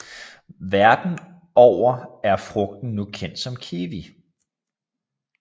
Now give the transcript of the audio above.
Verden over er frugten nu kendt som kiwi